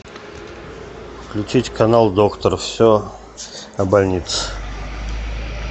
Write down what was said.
включить канал доктор все о больнице